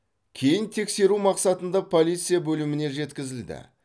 кейін тексеру мақсатында полиция бөліміне жеткізілді